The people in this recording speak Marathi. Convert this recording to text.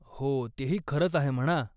हो, तेही खरंच आहे म्हणा.